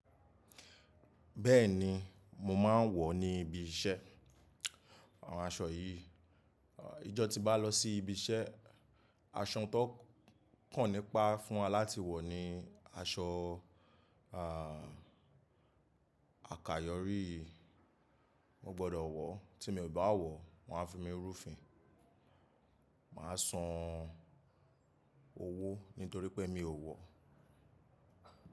Bẹ́ẹ̀ni, mo máa ń wọ̀ ní ibi iṣẹ́ àwọn aṣọ yìí. Ijọ ti bá lọ sí ibi iṣẹ́, aṣọ tó kàn nípa fún wa láti wọ̀ ni aṣọ, à, àkayòrí yìí. Mo gbọ́dọ̀ wọ̀, tí mo bá wọ̀, wọ́n a fi mí rúfin. Màá san owó nítorí pé mi ò wọ̀.